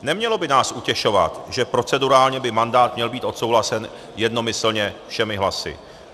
Nemělo by nás utěšovat, že procedurálně by mandát měl být odsouhlasen jednomyslně všemi hlasy.